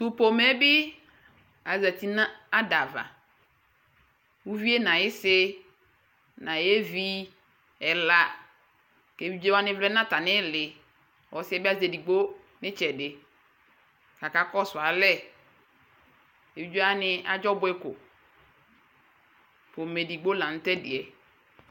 Tʋ pomɛ yɛ bɩ azati nʋ ada ava Uvi yɛ nʋ ayɩsɩ nʋ ayevi ɛla kʋ evidze wanɩ vlɛ nʋ atamɩ ɩɩlɩ Ɔsɩ yɛ bɩ azɛ edigbo nʋ ɩtsɛdɩ kʋ akakɔsʋ alɛ Evidze wanɩ adzɔ ɔbʋɛ ko Pomɛ edigbo la nʋ tʋ ɛdɩ yɛ